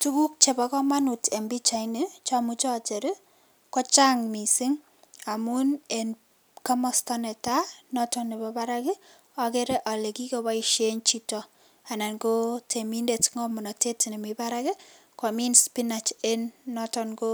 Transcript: Tukuk chebokomonut en pichaini chomuche ocher kochang mising amun en komosto netaa noton nebo barak okere olee kikoboishen chito anan ko temindet ng'omnotet nemii barak komin spinach en noton ko